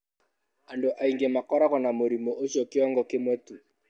Andũ aingĩ makoragwo na mũrimũ ũcio kĩongo kĩmwe tu.